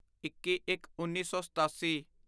ਇੱਕੀਇੱਕਉੱਨੀ ਸੌ ਸਤਾਸੀ